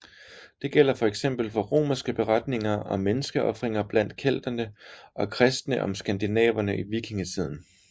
Det gælder fx for romerske beretninger om menneskeofringer blandt kelterne og kristne om skandinaverne i vikingetiden